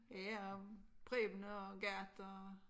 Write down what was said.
Ja om Preben og Gerda og